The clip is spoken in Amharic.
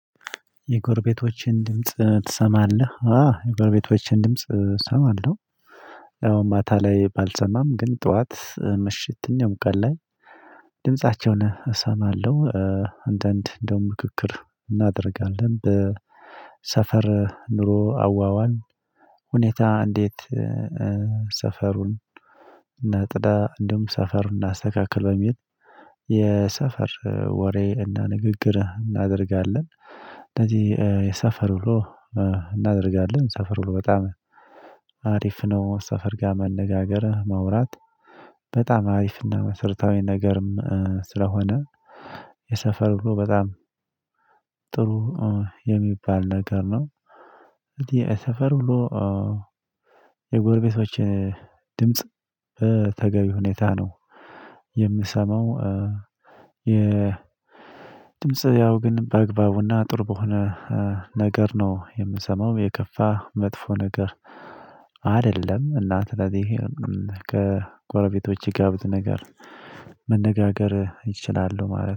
የጎርቤቶችን ድምጽ ትሰማለህ? አ የጎርቤቶችን ድምጽ እሰማለሁ። ያው ማታ ላይ ባልሰማም ግን ጠዋት ምሽት ነው ቀን ላይ ድምፃቸውን እሰማለሁ። አንዳንድ እንደው ምክክር እናደርጋለን በሰፈር ኑሮ አዋዋል ሁኔታ እንዴት? ሰፈሩን እና ጽዳ እንደውም ሰፈሩን እናስተካክል በሚል የሰፈር ወሬ እና ንግግር እናደርጋለን። እንደዚህ የሰፈር ውሎ እናደርጋለን ሰፈር ውሎ በጣም አሪፍ ነው። ሰፈር ጋር መነጋገር ማውራት በጣም አሪፍ እና መሰርታዊ ነገርም ስለሆነ። የሰፈር ውሎ በጣም ጥሩ የሚባል ነገር ነው። እንግዲ የሰፈር ብሎ የጎርቤቶች ድምጽ ተገቢ ሁኔታ ነው የምሰማው። የ ድምጽ ያው ግን በአግባቡና ጥሩ በሆነ ነገር ነው የምሰማው የከፋ መጥፎ ነገር አይደለም። እናት ለዚህ ከጎረቤቶች የጋብድ ነገር መነጋገር ይችላሉ ማለት